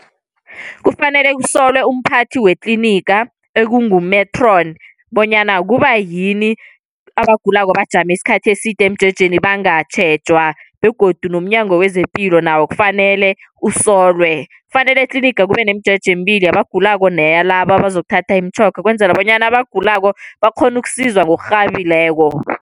Kufanele usolelwe umphathi wetliniga ekungu-matron bonyana kubayini abagulako bajame isikhathi eside emjejeni bangatjhejwa, begodu umnyango wezepilo nawo kufanele usolelwe. Kufanele etliniga kube nomjeje emibili yabagulako neyalaba bazokuthatha imitjhoga, ukwenzela bonyana abagulako bakghone ukusizwa ngokurhabileko.